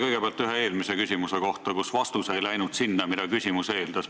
Kõigepealt ühest eelmisest küsimusest, mille vastus ei läinud sinna suunda, mida küsimus eeldas.